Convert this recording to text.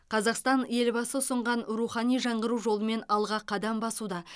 қазақстан елбасы ұсынған рухани жаңғыру жолымен алға қадам басуда